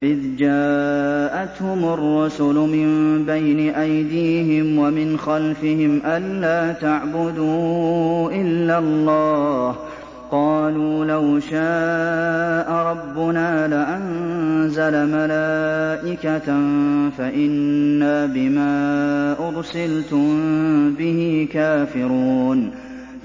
إِذْ جَاءَتْهُمُ الرُّسُلُ مِن بَيْنِ أَيْدِيهِمْ وَمِنْ خَلْفِهِمْ أَلَّا تَعْبُدُوا إِلَّا اللَّهَ ۖ قَالُوا لَوْ شَاءَ رَبُّنَا لَأَنزَلَ مَلَائِكَةً فَإِنَّا بِمَا أُرْسِلْتُم بِهِ كَافِرُونَ